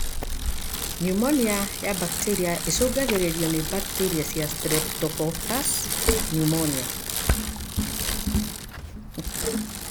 Pneumonia ya bakteria ĩcũngagĩrĩrio nĩ bakteria cia Streptococcus pneumoniae.